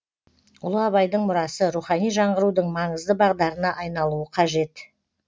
ұлы абайдың мұрасы рухани жаңғырудың маңызды бағдарына айналуы қажет